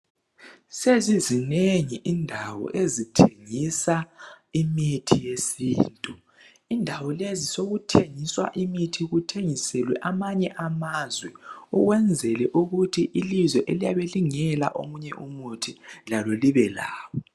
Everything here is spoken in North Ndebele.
Sezizinengi indawo ezithengisa imithi yesintu indawo lezi sokuthengiswa imithi kuthengiselwe amanye amazwe ukwenzela ukuthi ilizwe eliyabe lingela omunye umuthi lalo libe lawo.